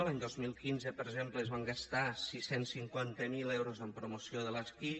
l’any dos mil quinze per exemple es van gastar sis cents i cinquanta miler euros en promoció de l’esquí